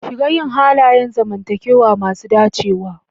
Shiga yin halayen zamantakewa masu dacewa.